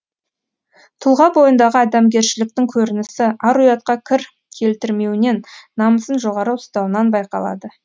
тұлға бойындағы адамгершіліктің көрінісі ар ұятқа кір келтірмеуінен намысын жоғары ұстауынан байқалады